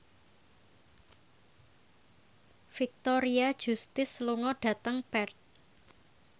Victoria Justice lunga dhateng Perth